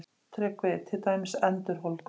TRYGGVI: Til dæmis endurholdgun?